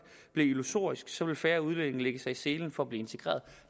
bliver illusorisk så vil færre udlændinge lægge sig i selen for at blive integreret